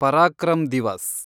Parakram Diwas